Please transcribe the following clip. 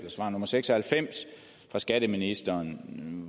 svar nummer seks og halvfems fra skatteministeren